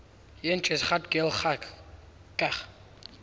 yn cheshaght ghailckagh